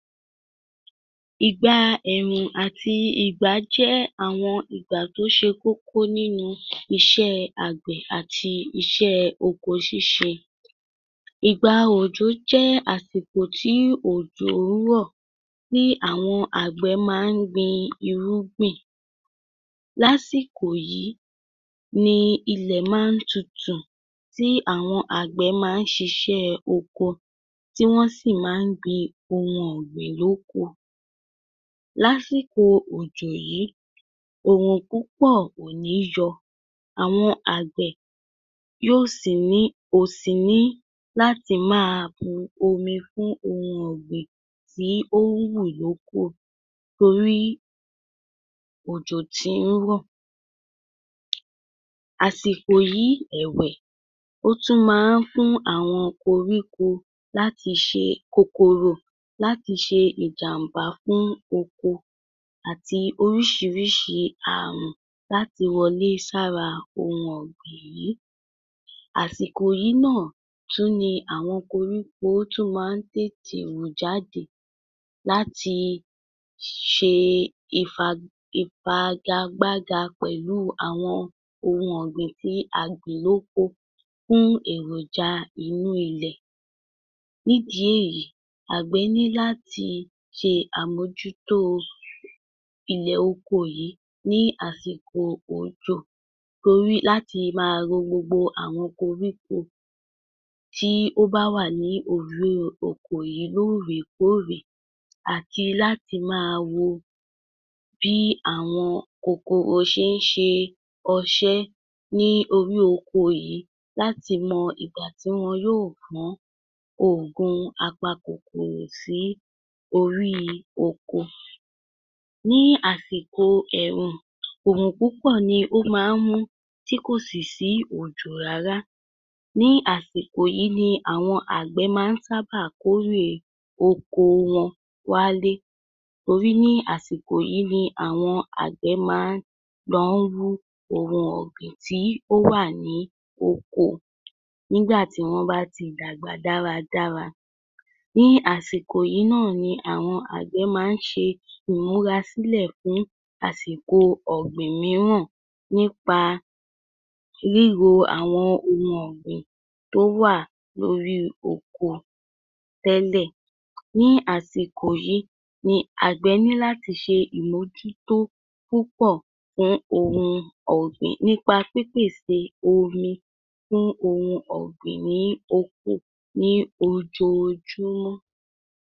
Ìgbaa ẹ̀rùn àti ìgbà jẹ́ àwọn ìgbà tó ṣe kókó nínu iṣẹ́ẹ àgbẹ̀ àti iṣẹ́ẹ oko ṣíṣe. Ìgba òjò jẹ́ àsìkò tí òjò ń rọ̀, tí àwọn àgbẹ̀ má ń gbin irúgbìn. Lásìkò yìí, nii ilẹ̀ má ń tutù tí àwọn àgbẹ̀ má ń ṣiṣẹ́ẹ oko tí wọ́n sì má ń gbin ohun ọ̀gbìn lóko. Lásìkò òjò yìí, òrùn púpọ̀ kò níí yọ. Àwọn àgbẹ̀, yóò sì ní, ò sì ní láti máa bu omi fún ohun ọ̀gbìn tí ó ń wù lóko torí òjò tí ń rọ̀. Àsìkò yìí, ẹ̀wẹ̀, ó tún má ń fún àwọn koríko láti ṣe kòkòrò láti ṣe ìjàmbá fún oko àti oríṣiríṣi àrùn láti wọlé sára ohun ọ̀gbìn yìí. Àsìkò yìí náà tún ni àwọn koríko tún ma ń tètè wù jáde láti, ṣee ìfag...ìfagagbága pẹ̀lúu àwọn ohun ọ̀gbìn tí a gbìn lóko fún èròjà inú ilẹ̀. Nídìí èyí, àgbẹ̀ ní láti ṣe àmójútóo, ilẹ̀ oko yìí ní àsìkò òjò, torí láti má ro gbogbo àwọn koríko tí ó bá wà òríó oko yìí lóòrèkóòrè. Àti láti máa wo bíi àwọn kòkòrò ṣé ń ṣe ọṣé níí orí oko yìí láti mọ ìgbà tí wọn yóò gbọ̀ọ́n ògùn apakòkòrò sìí oríí ọkọ. Ní àsìkò ẹ̀rùn, òrùn púpọ̀ ni ó má ń mún; tí kò sì sí òjò rárá. Ní àsìkò yìí ni àwọn àgbẹ̀ má ń sábà kórè oko wọn wálé. Torí ní àsìkò yìí ni àwọn àgbẹ̀ má ń lọ ń wú ohun ọ̀gbìn tí ó wà ní ọkọ, nígbà tí wọ́n bá ti dàgbà dáradára. Ní àsìkò yìí náà ni àwọn àgbẹ̀ má ń ṣe ìmúra sílẹ̀ fún àsìkò ọ̀gbìn mìíràn nípa ríro àwọn ohun ọ̀gbìn tó wà lórí ọkọ, tẹ́lẹ̀. Ní àsìkò yìí ni àgbẹ̀ ní láti ṣe ìmójútó púpọ̀ fún ohun ọ̀gbìn nípa pípèsè omi fún ohun ọ̀gbìn níí oko ní ojoojúmọ́.